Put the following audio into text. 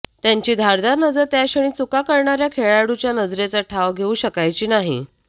त्याची धारदार नजर त्याक्षणी चुका करणाऱ्या खेळाडूच्या नजरेचा ठाव घेऊ शकायची नाही